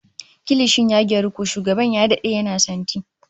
Kilishin ya gyaru, ko shugaban ya dade yana santi